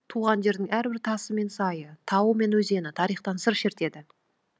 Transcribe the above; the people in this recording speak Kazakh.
туған жердің әрбір тасы мен сайы тауы мен өзені тарихтан сыр шертеді